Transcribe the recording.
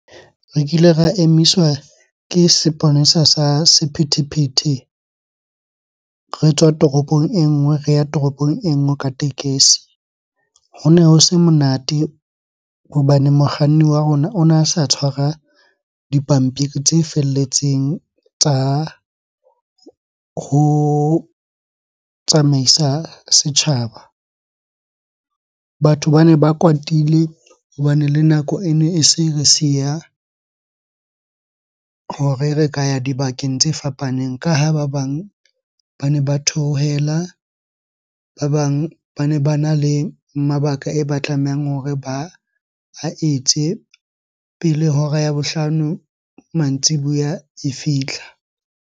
Re kile ra emiswa ke seponesa sa sephethephethe re tswa toropong e nngwe, re ya toropong e nngwe ka tekesi. Hone ho se monate hobane mokganni wa rona ona sa tshwara dipampiri tse felletseng tsa ho tsamaisa setjhaba. Batho bane ba kwatile hobane le nako ene e se re siya hore re ka ya dibakeng tse fapaneng. Ka ha ba bang ba ne ba theohela, ba bang bane bana le mabaka e ba tlamehang hore ba a etse pele hora ya bohlano mantsibuya e fihla.